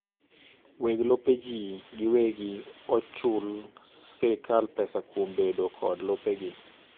weg lope jii giwegi okchul srkal pesa kuom bedo kod lopegi